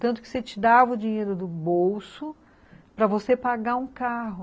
Tanto que você te dava o dinheiro do bolso para você pagar um carro.